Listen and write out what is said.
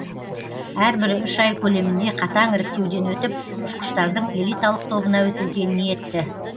әрбірі үш ай көлемінде қатаң іріктеуден өтіп ұшқыштардың элиталық тобына өтуге ниетті